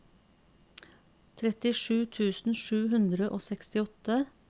trettisju tusen sju hundre og sekstiåtte